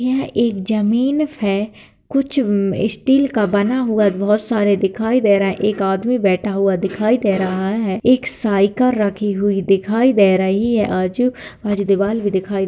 यह एक जमीन है कुछ हूं स्टील का बना हुआ बहोत सारे दिखाई दे रहा है| एक आदमी बैठा हुआ दिखाई दे रहा है| एक साइकर रखी हुई दिखाई दे रही है। आजू - बाजू दिवाल भी दिखाई--